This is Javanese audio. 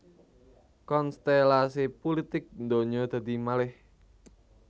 Konstèlasi pulitik ndonyo dadi malèh